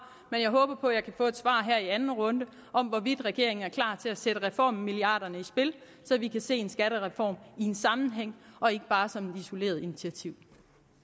men jeg håber på at jeg kan få et svar her i anden runde om hvorvidt regeringen er klar til at sætte reformmilliarderne i spil så vi kan se en skattereform i en sammenhæng og ikke bare som et isoleret initiativ